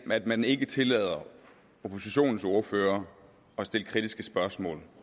man ikke tillader oppositionens ordførere at stille kritiske spørgsmål